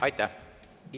Aitäh!